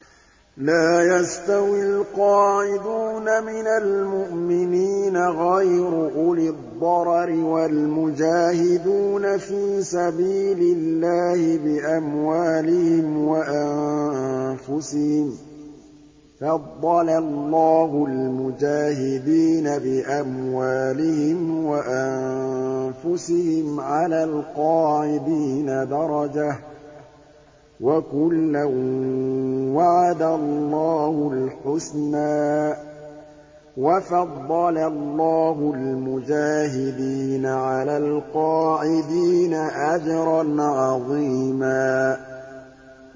لَّا يَسْتَوِي الْقَاعِدُونَ مِنَ الْمُؤْمِنِينَ غَيْرُ أُولِي الضَّرَرِ وَالْمُجَاهِدُونَ فِي سَبِيلِ اللَّهِ بِأَمْوَالِهِمْ وَأَنفُسِهِمْ ۚ فَضَّلَ اللَّهُ الْمُجَاهِدِينَ بِأَمْوَالِهِمْ وَأَنفُسِهِمْ عَلَى الْقَاعِدِينَ دَرَجَةً ۚ وَكُلًّا وَعَدَ اللَّهُ الْحُسْنَىٰ ۚ وَفَضَّلَ اللَّهُ الْمُجَاهِدِينَ عَلَى الْقَاعِدِينَ أَجْرًا عَظِيمًا